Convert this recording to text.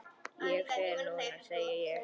Ég fer núna, segi ég.